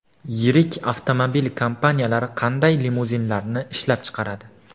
Yirik avtomobil kompaniyalari qanday limuzinlarni ishlab chiqaradi?